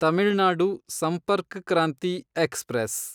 Tamil Nadu Sampark Kranti express